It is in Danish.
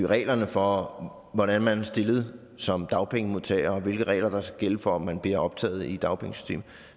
reglerne for hvordan man er stillet som dagpengemodtager og hvilke regler der skal gælde for om man bliver optaget i dagpengesystemet